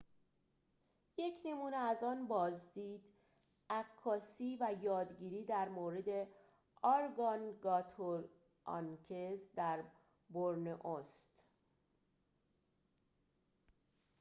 یک نمونه از آن بازدید عکاسی و یادگیری در مورد ارگانگاتوآنگز در بورنئو است